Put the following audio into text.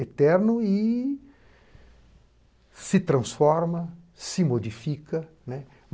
Eterno e se transforma, se modifica, né